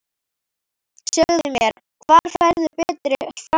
Segðu mér, hvar færðu betri framherja?